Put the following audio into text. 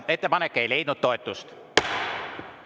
Ettepanek ei leidnud toetust.